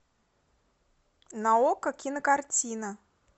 на окко кинокартина